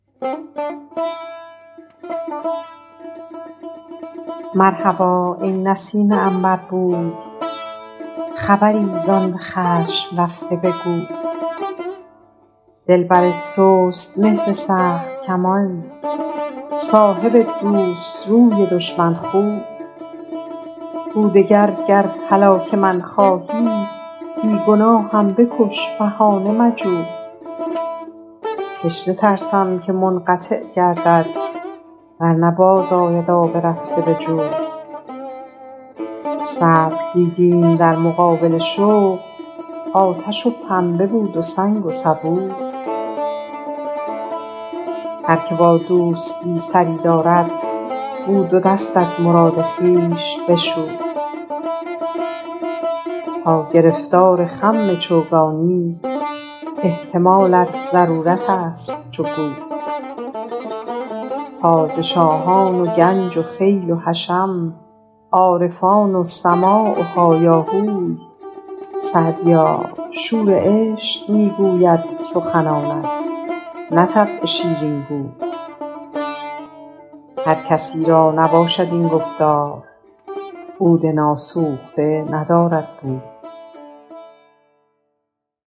مرحبا ای نسیم عنبربوی خبری زآن به خشم رفته بگوی دلبر سست مهر سخت کمان صاحب دوست روی دشمن خوی گو دگر گر هلاک من خواهی بی گناهم بکش بهانه مجوی تشنه ترسم که منقطع گردد ور نه باز آید آب رفته به جوی صبر دیدیم در مقابل شوق آتش و پنبه بود و سنگ و سبوی هر که با دوستی سری دارد گو دو دست از مراد خویش بشوی تا گرفتار خم چوگانی احتمالت ضرورت است چو گوی پادشاهان و گنج و خیل و حشم عارفان و سماع و هایاهوی سعدیا شور عشق می گوید سخنانت نه طبع شیرین گوی هر کسی را نباشد این گفتار عود ناسوخته ندارد بوی